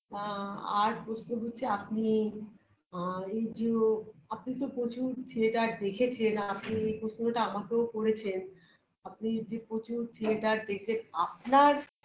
আ আর প্রশ্ন হচ্ছে আপনি আ এই জিও আপনি তো প্রচুর theatre দেখেছেন আর এই প্রশ্নটা আমাকেও করেছেন আপনি যে প্রচুর theatre দেখে আপনার